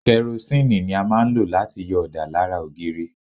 Kẹrosínìì ni a máa ń lò láti yọ ọ̀dà lára ògiri.